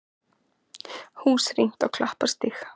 Hús rýmt á Klapparstíg